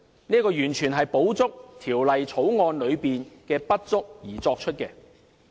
這完全是為補充《條例草案》的不足。